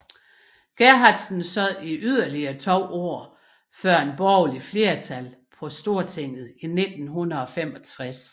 Gerhardsen sad i yderligere to år før et borgerligt flertal på Stortinget i 1965